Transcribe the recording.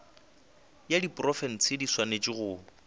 ya diprofense di swanetše go